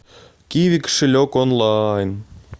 киви кошелек онлайн